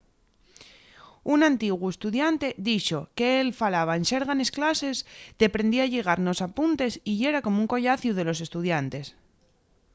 un antiguu estudiante dixo qu'él falaba en xerga nes clases deprendía a lligar nos apuntes y yera como un collaciu de los estudiantes